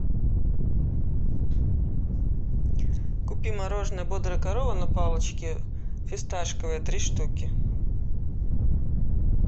купи мороженое бодрая корова на палочке фисташковое три штуки